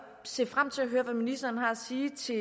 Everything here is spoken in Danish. se frem til at høre hvad ministeren har at sige til